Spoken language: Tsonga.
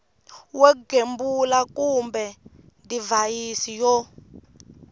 wo gembula kumbe divhayisi yo